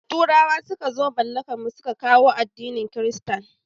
Da turawa suka zo mallakan mu su ka kawo addinin kirista